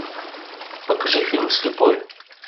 покажи фильм слепой